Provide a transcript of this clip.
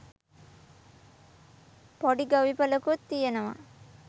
පොඩි ගොවිපලකුත් තියෙනවා.